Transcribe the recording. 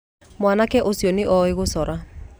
Mwanake ũcio nĩ oĩ gũcora.